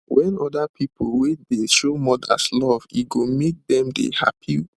wen oda people wait dey show mothers love e go make dem dey happy